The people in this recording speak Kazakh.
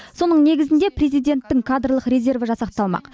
соның негізінде президенттің кадрлық резерві жасақталмақ